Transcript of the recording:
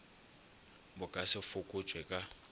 bo ka se fokotšwe ka